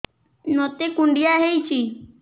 ମୋତେ କୁଣ୍ଡିଆ ହେଇଚି